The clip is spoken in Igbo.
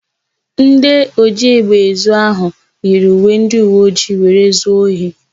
Ndị ojiégbè ezu áhụ̀ yiri uwe ndịuweojii were zuo ohi.